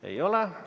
Ei ole.